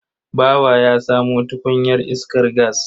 Bawa ya samo tukunyar iskar gas.